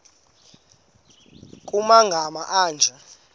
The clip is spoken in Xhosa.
nkr kumagama anje